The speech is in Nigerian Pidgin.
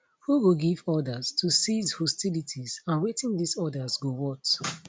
who go give orders to cease hostilities and wetin dis orders go worth